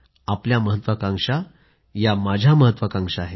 आपल्या महत्वाकांक्षा या माझ्या महत्वाकांक्षा आहेत